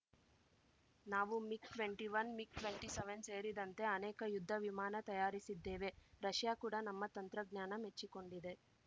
ನಾವು MiG twenty one MiG twenty seven ಸೇರಿದಂತೆ ಅನೇಕ ಯುದ್ಧ ವಿಮಾನ ತಯಾರಿಸಿದ್ದೇವೆ ರಷ್ಯಾ ಕೂಡ ನಮ್ಮ ತಂತ್ರಜ್ಞಾನ ಮೆಚ್ಚಿಕೊಂಡಿದೆ